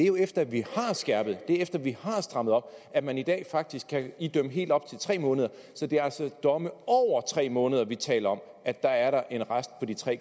jo efter at vi har skærpet efter at vi har strammet op at man i dag faktisk kan idømme helt op til tre måneder så det er altså domme over tre måneder hvor vi taler om at der er en rest på de tre